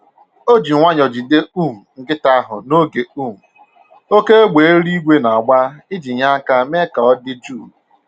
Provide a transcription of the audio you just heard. O ji nwayọ jide um nkịta ahụ n'oge um oké égbè eluigwe na-agba iji nye aka mee ka ọ dị jụụ